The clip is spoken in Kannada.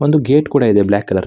ಒಂದು ಗೇಟ್ ಕೂಡ ಇದೆ ಬ್ಲ್ಯಾಕ್ಕ್ ಕಲರ್ .